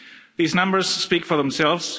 These numbers speak for themselves.